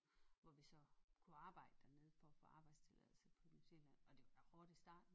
Hvor vi så kunne arbejde dernede for at få arbejdstilladelse på New Zealand og det var da hårdt i starten